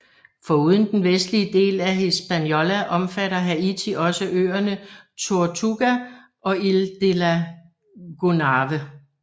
Foruden den vestlige del af Hispaniola omfatter Haiti også øerne Tortuga og Île de la Gonâve